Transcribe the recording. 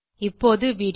இப்போது வீடியோ